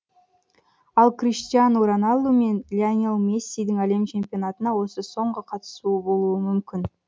ал криштиану роналду мен лионель мессидің әлем чемпионатына осы соңғы қатысуы болуы мүмкін